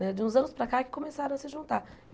Né de uns anos para cá que começaram a se juntar.